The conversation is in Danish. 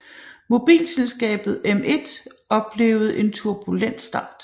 Mobilselskabet M1 oplevede en turbulent start